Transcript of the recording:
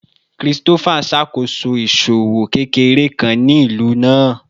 Christopher n ṣakoso iṣowo kekere kan ni ilu naa